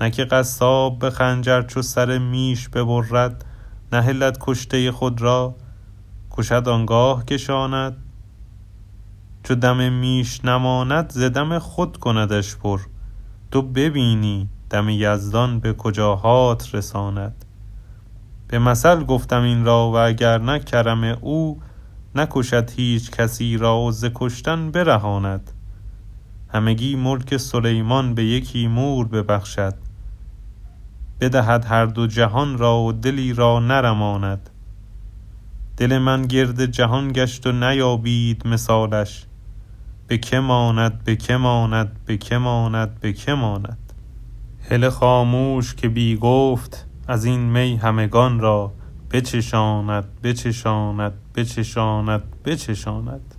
نه که قصاب به خنجر چو سر میش ببرد نهلد کشته خود را کشد آن گاه کشاند چو دم میش نماند ز دم خود کندش پر تو ببینی دم یزدان به کجاهات رساند به مثل گفته ام این را و اگر نه کرم او نکشد هیچ کسی را و ز کشتن برهاند همگی ملک سلیمان به یکی مور ببخشد بدهد هر دو جهان را و دلی را نرماند دل من گرد جهان گشت و نیابید مثالش به که ماند به که ماند به که ماند به که ماند هله خاموش که بی گفت از این می همگان را بچشاند بچشاند بچشاند بچشاند